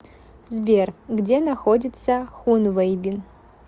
сбер где находится хунвэйбин